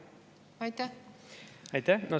Aitäh!